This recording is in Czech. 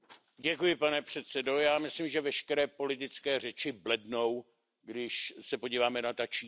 Pane předsedo, já myslím, že veškeré politické řeči blednou, když se podíváme na ta čísla.